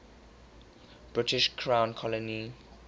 british crown colony